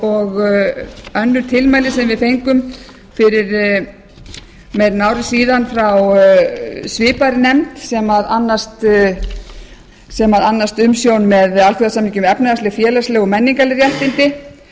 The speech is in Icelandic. önnur tilmæli sem við fengum fyrir meira en ári frá svipaðri nefnd sem annast umsjón með alþjóðasamningi um efnahagsleg félagsleg og menningarleg réttindi